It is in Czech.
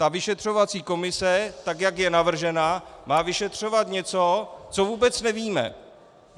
Ta vyšetřovací komise tak, jak je navržena, má vyšetřovat něco, co vůbec nevíme.